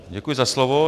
Děkuji za slovo.